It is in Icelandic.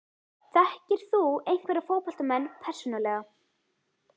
Þekkir þú einhverja fótboltamenn persónulega?